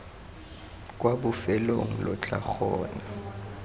kwa bofelong lo tla kgona